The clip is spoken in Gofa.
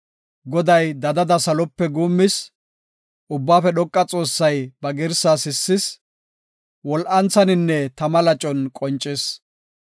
Goday dadada salope guummis; Ubbaafe Dhoqa Xoossay ba girsaa sissis; wol7anthaninne tama lacon qoncis.